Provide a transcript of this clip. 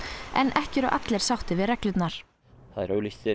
en ekki eru allir sáttir við reglurnar það er auglýst